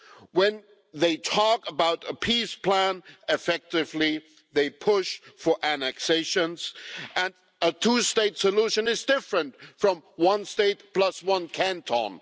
When they talk about a peace plan they are effectively pushing for annexation and a two state solution is different from one state plus one canton.